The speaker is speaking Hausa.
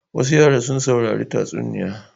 Wasu yara sun saurari tatsuniya.